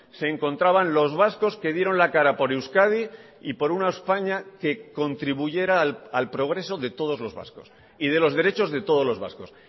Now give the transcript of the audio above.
se encontraban los vascos que dieron la cara por euskadi y por una españa que contribuyera al progreso de todos los vascos y de los derechos de todos los vascos